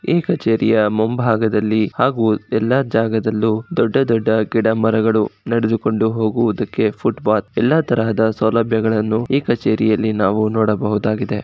ಈ ಕಚೇರಿಯ ಮುಂಭಾಗದಲ್ಲಿ ಹಾಗೂ ಎಲ್ಲಾ ಜಾಗದಲ್ಲೂ ದೊಡ್ಡ ದೊಡ್ಡ ಗಿಡ ಮರಗಳು ನಡೆದುಕೊಂಡು ಹೋಗುವುದಕ್ಕೆ ಫುಟ್ಪಾತ್ ಎಲ್ಲಾ ತರಹದ ಸೌಲಭ್ಯಗಳನ್ನು ಈ ಕಚೇರಿಯಲ್ಲಿ ನಾವು ನೋಡಬಹುದಾಗಿದೆ.